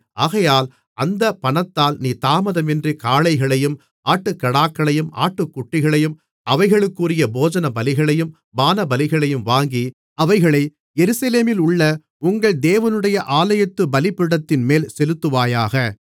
ஆகையால் அந்தப் பணத்தால் நீ தாமதமின்றி காளைகளையும் ஆட்டுக்கடாக்களையும் ஆட்டுக்குட்டிகளையும் அவைகளுக்குரிய போஜனபலிகளையும் பானபலிகளையும் வாங்கி அவைகளை எருசலேமிலுள்ள உங்கள் தேவனுடைய ஆலயத்து பலிபீடத்தின்மேல் செலுத்துவாயாக